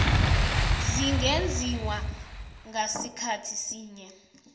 zingenziwa ngasikhathi sinye